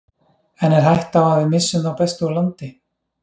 En er hætta á að við missum þá bestu úr landi?